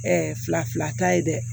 fila fila ta ye dɛ